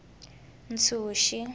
ntshuxi